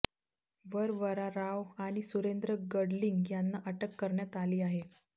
वरवरा राव आणि सुरेंद्र गडलिंग यांना अटक करण्यात आली आहे